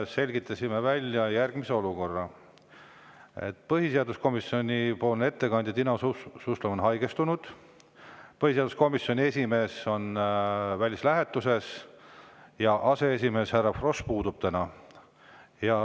Selgitasime välja, et olukord on järgmine: põhiseaduskomisjoni ettekandja Timo Suslov on haigestunud, põhiseaduskomisjoni esimees on välislähetuses ja aseesimees härra Frosch täna puudub.